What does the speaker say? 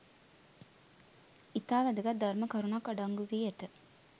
ඉතා වැදගත් ධර්ම කරුණක් අඩංගු වී ඇත